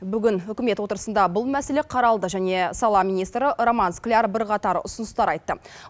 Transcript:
бүгін үкімет отырысында бұл мәселе қаралды және сала министрі роман скляр бірқатар ұсыныстар айтты